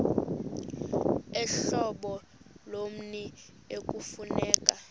uhlobo lommi ekufuneka